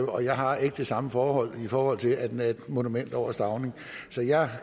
og jeg har ikke det samme forhold forhold til at den er et monument over stauning så jeg